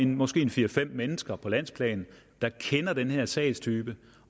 måske er fire fem mennesker på landsplan der kender den her sagstype